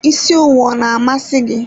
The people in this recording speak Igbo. Isi owu ọ na amasi gị?